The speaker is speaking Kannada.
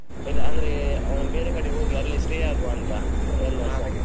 ಇಲ್~ ಅಂದ್ರೆ ಒಂದ್ ಬೇರೆ ಕಡೆ ಹೋಗಿ ಅಲ್ಲಿ stay ಆಗುವ ಅಂತ .